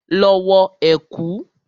Lọ wọ ẹ̀kú!